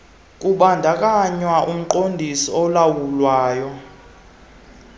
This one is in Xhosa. kubandakanywa umqondisi olawulayo